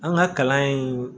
An ka kalan in